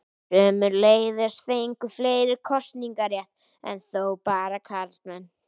Sömuleiðis fengu fleiri kosningarétt, enn þó bara karlmenn.